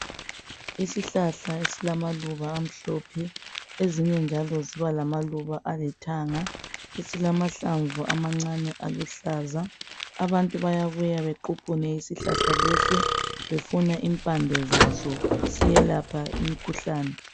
Isihlahla esilamaluba amhlophe, ezinye njalo zibamalaluba amhlophe, esilamahlamvu amancane aluhlaza. Abantu bayabuya bequphune isihlahla lesi befuna impande zaso, siyelapha imikhuhlane.